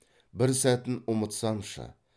бір сәтін ұмытсамшы